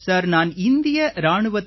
sir நான் இந்திய இராணுவத்தில்